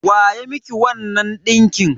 Wa ya miki wannan ɗinkin?